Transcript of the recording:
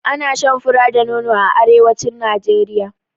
Ana shan fura da nono a arewacin Najeriya.